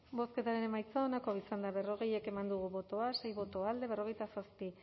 bozketaren emaitza onako izan da berrogei eman dugu bozka sei boto alde berrogeita zazpi